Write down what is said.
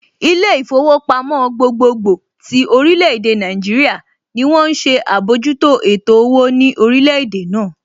Ilé ìfowópamọ́ gbogbogbò tí orílè èdè Nàìjíríà ní wón ń ṣe àbójútó ètò owó ní orílẹ̀ èdè náà